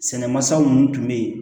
Sɛnɛ masaw minnu tun bɛ yen